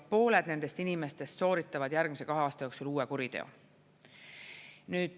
Pooled nendest inimestest sooritavad järgmise kahe aasta jooksul uue kuriteo.